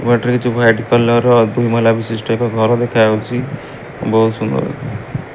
ବାଟରେ କିଛି white colour ର ଦୁଇ ମହଲା ବିଶିଷ୍ଟ ଏକ ଘର ଦେଖାଯାଉଛି। ବୋହୁତ୍ ସୁନ୍ଦର --